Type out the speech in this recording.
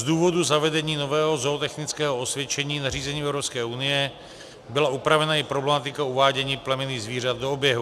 Z důvodu zavedení nového zootechnického osvědčení nařízením Evropské unie byla upravena i problematika uvádění plemenných zvířat do oběhu.